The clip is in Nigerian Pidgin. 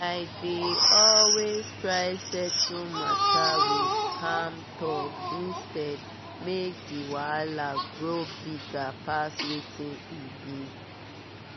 i dey always try settle matter with calm talk instead make the wahala grow bigger pass wetin e be.